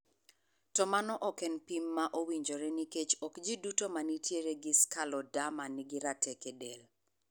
To mano ok en pim ma owinjore nikech ok ji duto mantiere gi scleroderma ni gi rateke del.